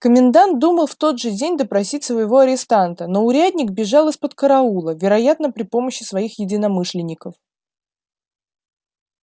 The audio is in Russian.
комендант думал в тот же день допросить своего арестанта но урядник бежал из-под караула вероятно при помощи своих единомышленников